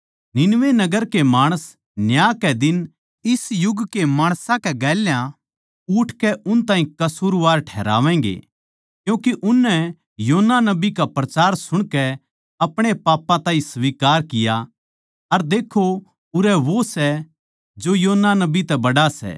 निनवे नगर के माणस न्याय कै दिन इस युग के माणसां कै गेल्या उठकै उन ताहीं कसूरवार ठहरावैगें क्यूँके उननै योना नबी का प्रचार सुणकै अपणे पापां ताहीं स्वीकार किया अर देक्खो उरै वो सै जो योना नबी तै भी बड्ड़ा सै